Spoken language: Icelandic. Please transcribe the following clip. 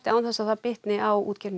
án þess að það bitnaði á útgerðinni